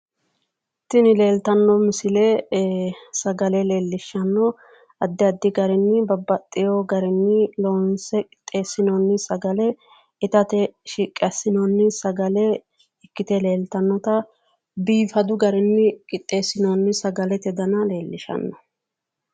Tini leeltanno misile ee sagale leellishshano, addi addi babbaxxewo garinni loonse qixeessinoonni sagle itate shiqqi assinoonni sagel ikkite leeltannita biifanno garinni shiqqi assinoonni sagale leellishanno.